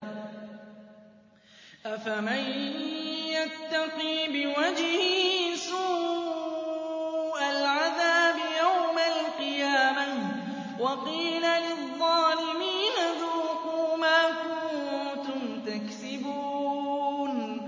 أَفَمَن يَتَّقِي بِوَجْهِهِ سُوءَ الْعَذَابِ يَوْمَ الْقِيَامَةِ ۚ وَقِيلَ لِلظَّالِمِينَ ذُوقُوا مَا كُنتُمْ تَكْسِبُونَ